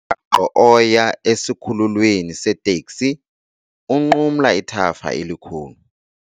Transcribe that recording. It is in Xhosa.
Umgaqo oya esikhululweni seeteksi unqumla ithafa elikhulu.